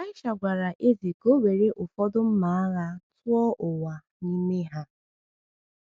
Elisha gwara eze ka o were ụfọdụ mma agha tụọ ụwa n’ime ha.